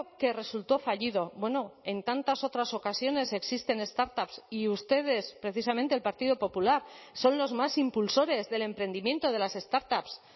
que resultó fallido bueno en tantas otras ocasiones existen startups y ustedes precisamente el partido popular son los más impulsores del emprendimiento de las startups